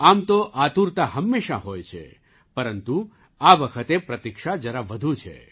આમ તો આતુરતા હંમેશાં હોય છે પરંતુ આ વખતે પ્રતીક્ષા જરા વધુ છે